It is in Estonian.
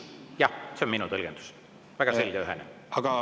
Jah, see on minu tõlgendus, väga selge ja ühene.